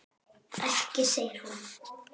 Ekki segir hún.